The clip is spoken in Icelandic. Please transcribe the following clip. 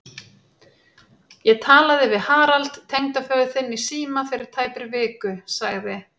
Ég talaði við Harald tengdaföður þinn í síma fyrir tæpri viku sagði